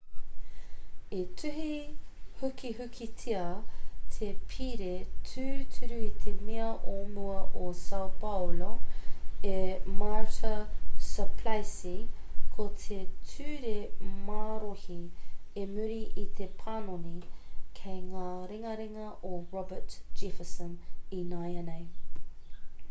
i tuhi hukihukitia te pire tūturu e te mea o mua o sao paulo e marta suplicy ko te ture marohi i muri i te panoni kei ngā ringaringa o roberto jefferson ināianei